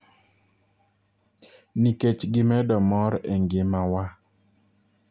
Nikech gimedo mor e ngima wa.